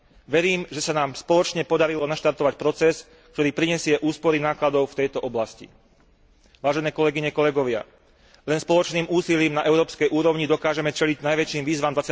Verím, že sa nám spoločne podarilo naštartovať proces, ktorý prinesie úspory nákladov v tejto oblasti. Vážené kolegyne, kolegovia, len spoločným úsilím na európskej úrovni dokážeme čeliť najväčším výzvam